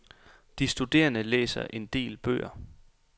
De studerende læser en del bøger.